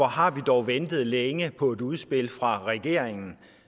har vi dog ventet længe på et udspil fra regeringen